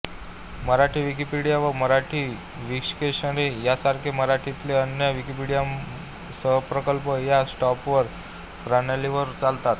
Marathi Wikipedia व Marathi Wiktionary यांसारखे मराठीतील अन्य विकिमीडिया सहप्रकल्प या सॉफ्टवेर प्रणालीवर चालतात